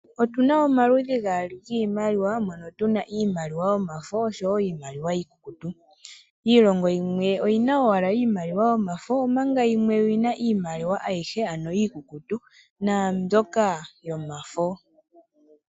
Otuna omaludhi gaali giimaliwa mono tuna iimaliwa yomafo oshowo iimaliwa iikukutu. Iilongo yimwe oyina owala iimaliwa yomafo omanga yimwe oyina iimaliwa ayihe ano iikukutu naambyoka yomafo.